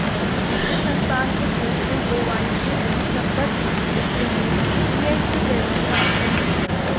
इससे संस्थान के सदस्यों को वाणिज्य एवं संबद्ध विषयों में पीएचडी करने का अवसर मिलेगा